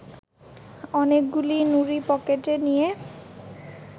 অনেকগুলি নুড়ি পকেটে নিয়ে